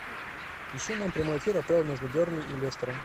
ищи нам прямой эфир апл между бернли и лестером